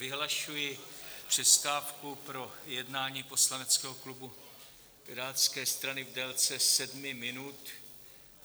Vyhlašuji přestávku pro jednání poslaneckého klubu Pirátské strany v délce sedmi minut.